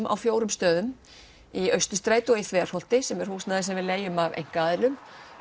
á fjórum stöðum í Austurstræti og Þverholti sem er húsnæði sem við leigjum af einkaaðilum